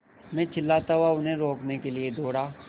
मैं चिल्लाता हुआ उन्हें रोकने के लिए दौड़ा